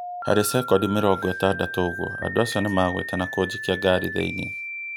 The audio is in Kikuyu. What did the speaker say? Harĩ cekondi mĩrongo ĩtandatũ ũguo, andũ acio nĩmaguĩte na kũnjikia ngari thĩinĩ